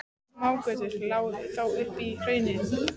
Smágötur lágu þó upp í hraunið.